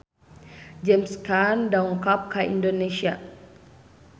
James Caan dongkap ka Indonesia